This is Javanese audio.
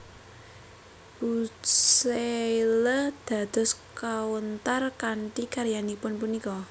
Bucaille dados kawntar kanthi karyanipun punika